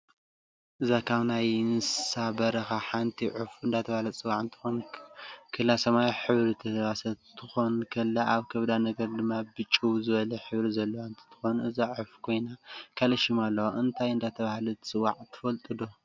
እዛ ካብ ናይ ንስሳ በራካ ሓንቲ ዕፍ እደተበሃለትትፅዋዕ ክትኮን ከላ ሰማያዊ ሕብሪ ዝተለባሰት ኩትኮን ከላ ኣብ ከብዳ ነገር ድማ ብጭው ዝበለ ሕብሪ ዘለዋ ንትትኮን እዛ ዕፍ ኮይና ካሊእ ሽም ኣለዋ እንታይ እዳተበሃለት ትፅዋ ትፍልጥዶ?